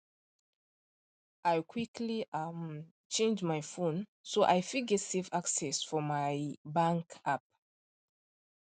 i quickly um change my phone so i fit get safe access for my um bank app